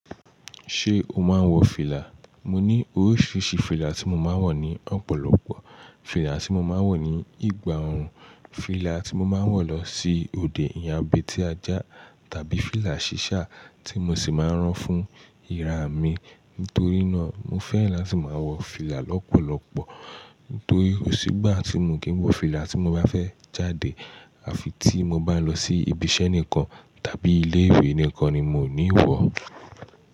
Ṣé o máa ń wọ fìlà? Mo ní oríṣiríṣi fìlà tí mo máa ń wọ̀ ní ọ̀pọ̀lọpọ̀. Fìlà tí mo máa ń wọ̀ ní ìgbà òórùn, fìlà tí mo máa ń wọ̀ lọ sí òde ìyàwó bí ti ajá tàbí fìlà ṣíṣá tí mo sì máa ń rán fún ira mi. Nítorí náà, mo fẹ́ràn láti máa wọ fìlà lọ́pọ̀lọpọ̀. Nítorí kò sí gbà tí mo kì ń wọ fìlà tí mo bá fẹ́ jáde àfi tí mo bá lọ sí ibi iṣẹ́ nìkan tàbí ilé-ìwé nìkan ni mo ní wọ̀.